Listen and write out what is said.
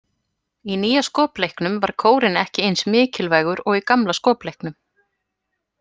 Í nýja skopleiknum var kórinn ekki eins mikilvægur og í gamla skopleiknum.